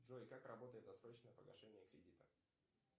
джой как работает досрочное погашение кредита